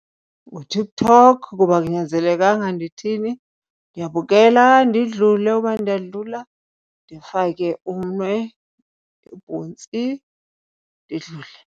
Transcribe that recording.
NguTikTok kuba akunyanzelekanga ndithini, ndiyabukela ndidlule uba ndiyadlula, ndifake umnwe ubhontsi ndidlule.